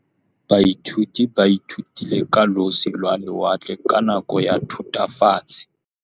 Baithuti ba ithutile ka losi lwa lewatle ka nako ya Thutafatshe.